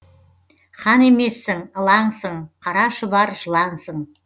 хан емессің ылаңсың қара шұбар жылансың